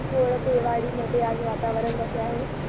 कोळपेवाडी मध्ये आज वातावरण कसे आहे